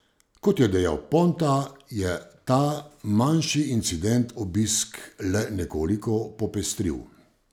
Kot je dejal Ponta, je ta manjši incident obisk le nekoliko popestril.